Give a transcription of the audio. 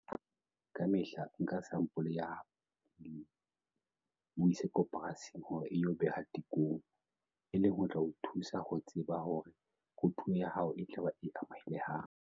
Ka mehla nka sampole ya pele, o e ise koporasing hore e yo behwa tekong, e leng ho tla o thusa ho tseba hore kotulo ya hao e tla ba e amohelehang.